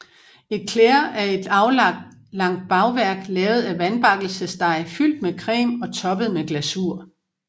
Éclair er et aflangt bagværk lavet af vandbakkelsesdej fyldt med creme og toppet med glasur